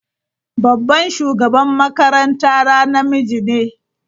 Babban shugaban makarantara namiji ne.